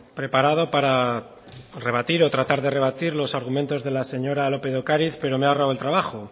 preparado para rebatir o tratar de rebatir los argumentos de la señora lópez de ocariz pero me ha ahorrado el trabajo